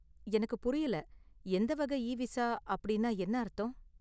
எனக்கு புரியல, 'எந்த வகை இவிசா' அப்படின்னா என்ன அர்த்தம்?